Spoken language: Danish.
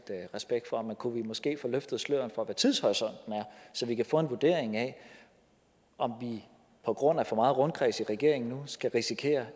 respekt for men kunne vi måske få løftet sløret for hvad tidshorisonten er så vi kan få en vurdering af om vi på grund af for meget rundkreds i regeringen nu risikerer